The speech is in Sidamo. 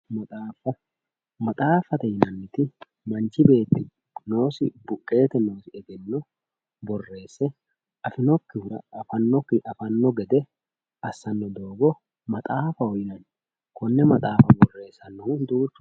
Maxaafa, maxaafate yineemmoti manchi beetti noosi buqete egenno borreesse afinokkihu afano gede assano doogo maxaafaho yinanni konne maxaafa borreessanohu duuchu